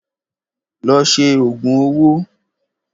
Lọ ṣe òògùn owó!